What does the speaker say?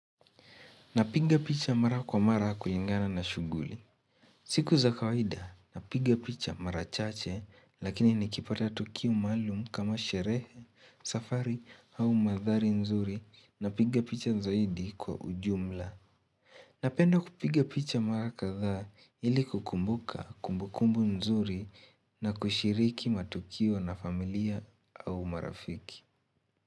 Napiga picha mara kwa mara kulingana na shughuli. Siku za kawaida, napiga picha mara chache lakini nikipata Tukio maalum kama sherehe, safari au mandhari nzuri, napiga picha zaidi kwa ujumla. Napenda kupiga picha mara kadhaa ili kukumbuka kumbukumbu nzuri na kushiriki matukio na familia au marafiki.